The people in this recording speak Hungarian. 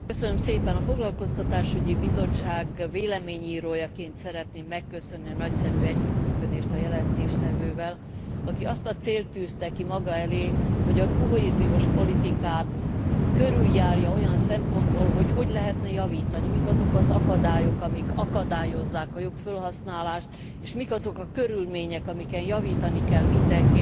A Foglalkoztatásügyi Bizottság véleményírójaként szeretném megköszönni a nagyszerű együttműködést a jelentéstevővel, aki azt a célt tűzte ki maga elé, hogy a kohéziós politikát körüljárja olyan szempontból, hogy hogy lehetne javítani, mik azok az akadályok, amik akadályozzák a jobb felhasználást, és mik azok a körülmények, amiken javítani kell mindenképpen,